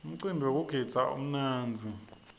umcimbi wekugidza umnandzi